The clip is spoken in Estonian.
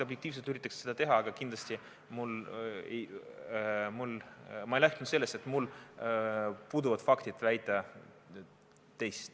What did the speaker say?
Seda üritatakse teha maksimaalselt efektiivselt, mul puuduvad faktid väita midagi muud.